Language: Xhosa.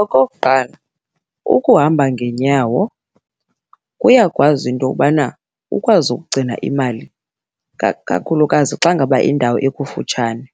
Okokuqala, ukuhamba ngeenyawo kuyakwazi into yobana ukwazi ukugcina imali, ikakhulukazi xa ngaba indawo ikufutshane.